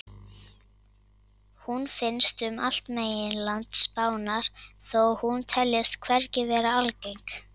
Hún finnst um allt meginland Spánar þó hún teljist hvergi vera algeng.